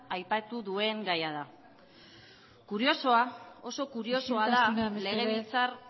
aipatu duen gaia da isiltasuna mesedez kuriosoa oso kuriosoa da legebiltzar